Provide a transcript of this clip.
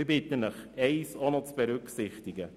Ich bitte Sie, noch eines zu berücksichtigen: